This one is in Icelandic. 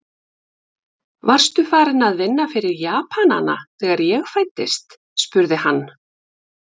Varstu farinn að vinna fyrir Japanana, þegar ég fæddist? spurði hann.